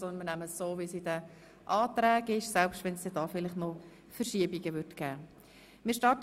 Wir nehmen es jetzt einfach so, wie die Anträge formuliert sind, selbst wenn es bei der Nummerierung noch Verschiebungen geben sollte.